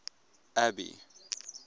abby